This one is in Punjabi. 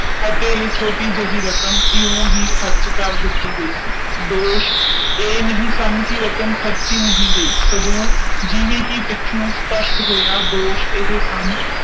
ਅਤੇ ਇਹ ਛੋਟੀ ਜੀ ਰਕਮ ਯੂ ਹੀ ਖਰਚ ਕਰ ਦਿਤੀ ਚੁਕੀ ਦੋਸ਼ ਇਹ ਨਹੀਂ ਸਨ ਕਿ ਰਕਮ ਖਰਚੀ ਨਹੀਂ ਗਯੀ ਸਗੋਂ ਜਿਵੇਂ ਹੀ ਪਿੱਛੋਂ ਇਹ ਸਪਸ਼ਟ ਹੋਇਆ ਓਵੇਂ ਦੋਸ਼ ਇਹ ਸਨ